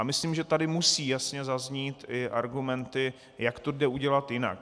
A myslím, že tady musí jasně zaznít i argumenty, jak to jde udělat jinak.